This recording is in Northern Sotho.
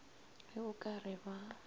ge o ka re ba